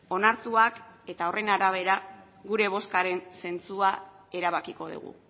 onartuak eta horren arabera gure bozkaren zentzua erabakiko dugu